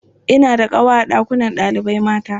Ina da ƙawa a ɗakunan ɗalibai mata.